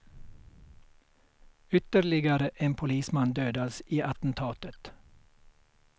Ytterligare en polisman dödades i attentatet.